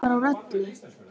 Átti ég að fara úr öllu?